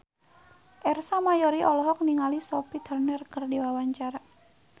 Ersa Mayori olohok ningali Sophie Turner keur diwawancara